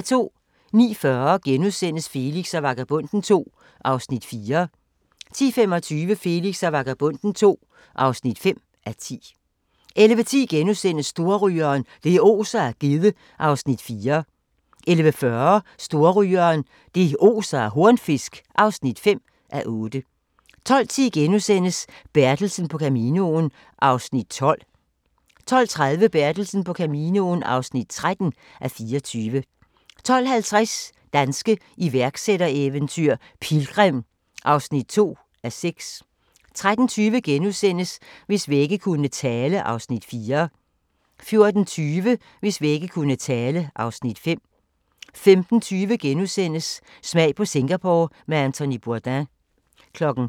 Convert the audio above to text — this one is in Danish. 09:40: Felix og Vagabonden II (4:10)* 10:25: Felix og Vagabonden II (5:10) 11:10: Storrygeren – det oser af gedde (4:8)* 11:40: Storrygeren – det oser af hornfisk (5:8) 12:10: Bertelsen på Caminoen (12:24)* 12:30: Bertelsen på Caminoen (13:24) 12:50: Danske iværksættereventyr - Pilgrim (2:6) 13:20: Hvis vægge kunne tale (Afs. 4)* 14:20: Hvis vægge kunne tale (Afs. 5) 15:20: Smag på Singapore med Anthony Bourdain *